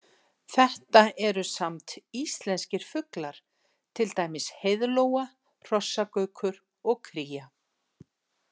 Þetta eru samt íslenskir fuglar, til dæmis heiðlóa, hrossagaukur og kría.